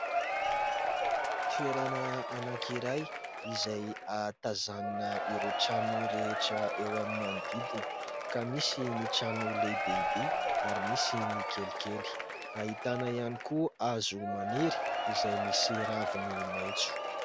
Toerana anankiray izay ahatazanana ireo trano rehetra eo amin'ny manodidina, ka misy ny trano lehibehibe ary misy ny kelikely; ahitana ihany koa hazo maniry izay misy raviny maitso.